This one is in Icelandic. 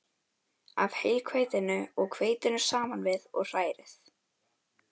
af heilhveitinu og hveitinu saman við og hrærið.